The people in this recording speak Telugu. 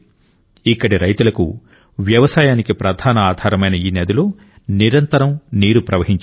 ఇక్కడి రైతులకు వ్యవసాయానికి ప్రధాన ఆధారమైన ఈ నదిలో నీరు నిరంతరం ప్రవహించేది